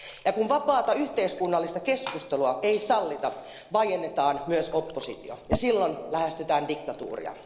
Ja kun vapaata yhteiskunnallista keskustelua ei sallita, vaiennetaan myös oppositio ja silloin lähestytään diktatuuria.